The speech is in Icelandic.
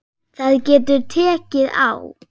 Það getur tekið á.